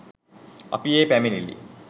අපි ඒ පැමිණිලි